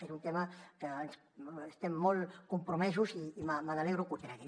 és un tema en què estem molt compromesos i m’alegro que ho tregui